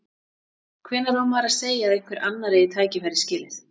Hvenær á maður að segja að einhver annar eigi tækifærið skilið?